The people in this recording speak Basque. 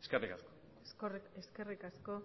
eskerrik asko eskerrik asko